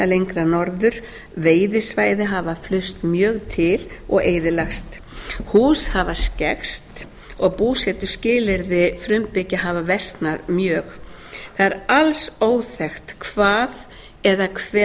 lengra norður veiðisvæði hafa flust mjög til og eyðilagst hús hafa skekkst og búsetuskilyrði frumbyggja hafa versnað mjög það er alls óþekkt hvað eða hve